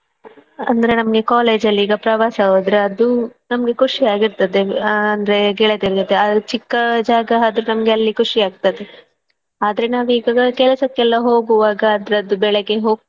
ಅಂದ್ರೆ ನಮ್ಗೆ college ಅಲ್ಲಿ ಈಗ ಪ್ರವಾಸ ಹೋದ್ರೆ ಅದು ನಮ್ಗೆ ಖುಷಿಯಾಗಿರ್ತದೆ ಅಂದ್ರೆ ಗೆಳತಿಯರ ಜೊತೆ ಅ ಚಿಕ್ಕ ಜಾಗ ಆದ್ರೂ ನಮ್ಗೆ ಅಲ್ಲಿ ಖುಷಿಯಾಗ್ತದೆ ಆದ್ರೆ ನಾವೀಗ ಕೆಲಸಕ್ಕೆಲ್ಲಾ ಹೋಗುವಾಗ ಅದರದ್ದು ಬೆಳೆಗ್ಗೆ ಹೋಗ್ತೇವೆ.